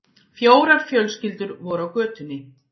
Fjórar fjölskyldur voru á götunni.